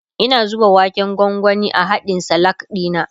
Ina zuba waken gwangwani a hadkn Salak dina